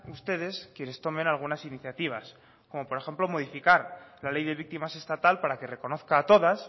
ustedes quienes tomen algunas iniciativas como por ejemplo modificar la ley de víctimas estatal para que reconozca a todas